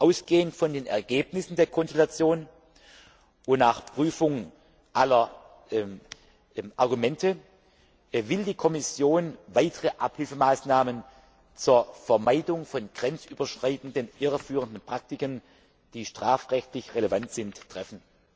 Ausgehend von den Ergebnissen der Konsultationen und nach Prüfung aller Argumente will die Kommission weitere Abhilfemaßnahmen zur Vermeidung von grenzüberschreitenden irreführenden Praktiken, die strafrechtlich relevant sind, treffen.